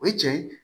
O ye cɛn ye